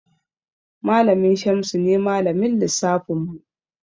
Malamin Shamsu ne Malamin lissafinmu.